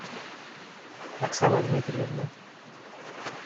оксана дмитриевна